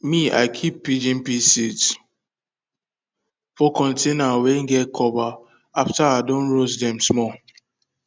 me i keep pigeon pea seeds for container wey get cover after i don roast dem small